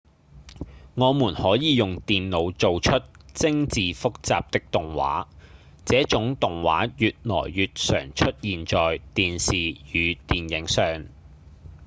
我們可以用電腦做出精緻複雜的動畫這種動畫越來越常出現在電視與電影上